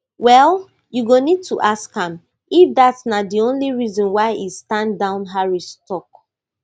well you go need to ask am if dat na di only reason why e stand down harris tok